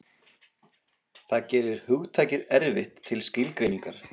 Það gerir hugtakið erfitt til skilgreiningar.